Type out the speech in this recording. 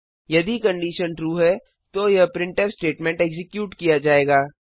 यदि condition true है तो यह प्रिंटफ स्टेटमेंट एक्जीक्यूट किया जाएगा